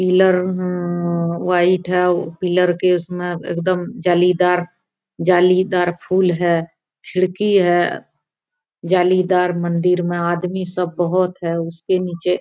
pillar अहम्म white है pillar के उसमे एकदम जालीदार जालीदार फुल है खिड़की है जालीदार मन्दिर में आदमी सब बहूत है उसके नीचे --